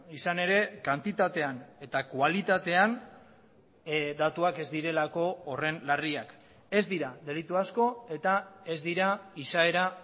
izan ere kantitatean eta kualitatean datuak ez direlako horren larriak ez dira delitu asko eta ez dira izaera